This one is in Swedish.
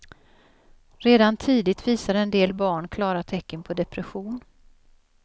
Redan tidigt visar en del barn klara tecken på depression.